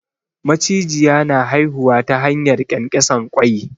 Macijiya na haihuwa ta hanyar ƙyanƙyasan ƙwai.